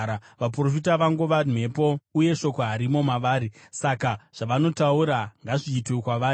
Vaprofita vangova mhepo, uye shoko harimo mavari. Saka zvavanotaura ngazviitwe kwavari.”